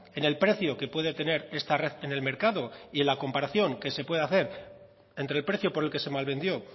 en el precio que puede tener esta red en el mercado y en la comparación que se puede hacer entre el precio por el que se malvendió